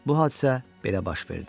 Bu hadisə belə baş verdi.